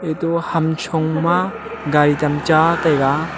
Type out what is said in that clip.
to hamcho ma gaari tam cha taiga.